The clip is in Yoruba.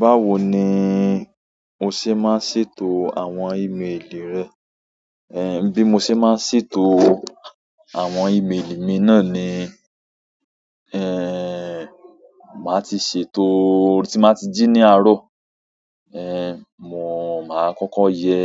Báwo ni o ṣe máa ń ṣètò àwọn ìméèlì rẹ? Bí mo ṣe máa ń ṣètò àwọn ìméèlì mi náà ni, màá ti ṣètò tí n mà ti jí ní àárọ̀. Ehn, mò máa kọ́kọ́ yẹ